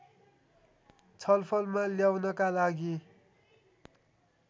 छलफलमा ल्याउनका लागि